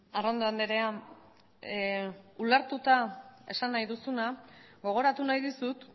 arrondo andrea ulertuta esan nahi duzuna gogoratu nahi dizut